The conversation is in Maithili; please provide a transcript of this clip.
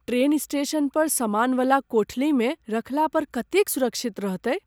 ट्रेन स्टेशन पर सामानवला कोठलीमे रखला पर कतेक सुरक्षित रहतै ?